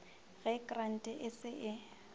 ge krante e se e